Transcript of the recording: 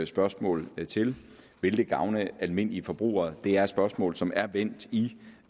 spørgsmål til vil det gavne almindelige forbrugere det er spørgsmål som er vendt i